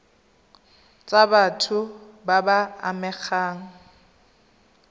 tsa batho ba ba amegang